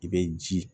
I bɛ ji